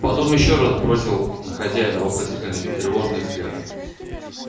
потом ещё раз бросил на хозяина вопросительный и тревожный взгляд